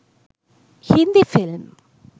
hindi film